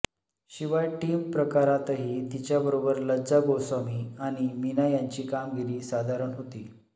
शिवाय टीम प्रकारातही तिच्याबरोबर लज्जा गोस्वामी आणि मीना यांची कामगिरी साधारण होती